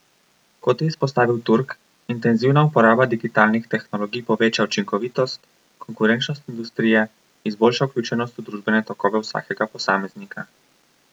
Kot je izpostavil Turk, intenzivna uporaba digitalnih tehnologij poveča učinkovitost, konkurenčnost industrije, izboljša vključenost v družbene tokove vsakega posameznika.